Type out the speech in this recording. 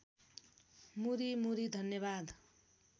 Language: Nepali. मुरी मुरी धन्यवाद